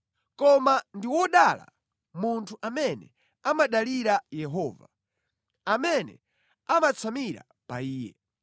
“Koma ndi wodala munthu amene amadalira Yehova, amene amatsamira pa Iye.